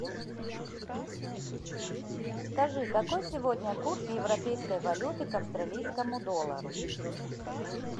скажи какой сегодня курс европейской валюты к австралийскому доллару